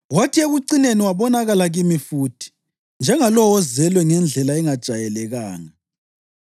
kwathi ekucineni wabonakala kimi futhi, njengalowo ozelwe ngendlela engajayelekanga.